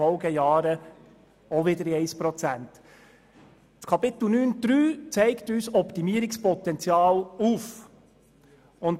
Unter Punkt 9.3 wird uns Optimierungspotenzial aufgezeigt.